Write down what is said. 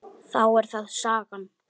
Þá er það sagan.